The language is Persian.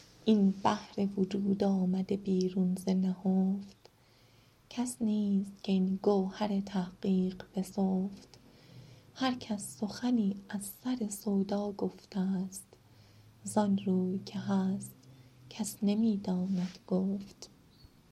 این بحر وجود آمده بیرون ز نهفت کس نیست که این گوهر تحقیق بسفت هر کس سخنی از سر سودا گفته است زان روی که هست کس نمی داند گفت